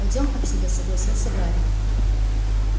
пойдём отсюда согласился гарри